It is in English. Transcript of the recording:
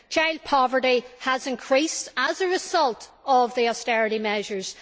Child poverty has increased as a result of the austerity measures.